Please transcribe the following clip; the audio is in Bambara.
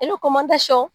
I bɛ